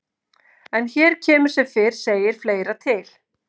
En hér kemur sem fyrr segir fleira til.